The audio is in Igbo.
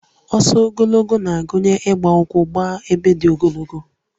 Ọsọ ogologo na-agụnye ịgba ụkwụ dị ogologo